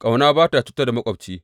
Ƙauna ba ta cutar da maƙwabci.